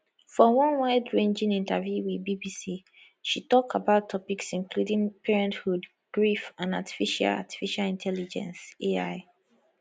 for one wideranging interview with bbc she tok about topics including parenthood grief and artificial artificial intelligence ai